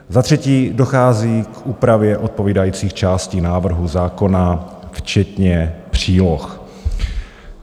Za třetí dochází k úpravě odpovídajících částí návrhu zákona včetně příloh.